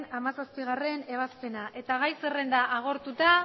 hamazazpigarrena ebazpena eta gai zerrenda agortuta